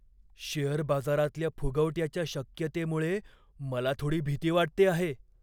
Share बाजारातल्या फुगवट्याच्या शक्यतेमुळे मला थोडी भीती वाटते आहे.